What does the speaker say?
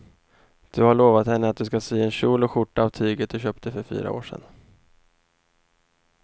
Du har lovat henne att du ska sy en kjol och skjorta av tyget du köpte för fyra år sedan.